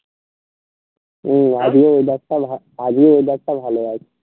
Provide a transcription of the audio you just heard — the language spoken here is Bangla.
হম আজকে weather টা ভালো আজকে weather টা ভালো আছে